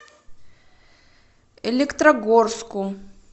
электрогорску